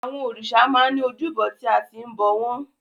Àwọn òrìṣà máa ń ní ojúbọ tí a ti ń bọ̀ wọ́n.